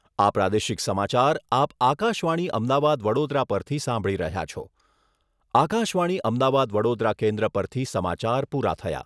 આ પ્રાદેશિક સમાચાર આપ આકાશવાણી અમદાવાદ વડોદરા પરથી સાંભળી રહ્યા છો. આકાશવાણી અમદાવાદ વડોદરા કેન્દ્ર પરથી સમાચાર પૂરા થયા.